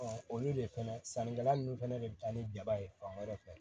olu de fana sannikɛla nunnu fɛnɛ de bi taa ni jaba ye fan wɛrɛ fɛ